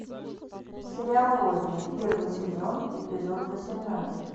сериал родина первый сезон эпизод восемнадцать